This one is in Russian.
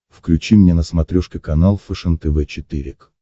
включи мне на смотрешке канал фэшен тв четыре к